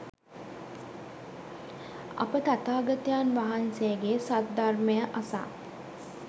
අප තථාගතයන් වහන්සේගේ සද්ධර්මය අසා